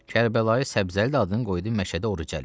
Kərbəlayı Səbzəli də adını qoydu Məşədi Orucəli.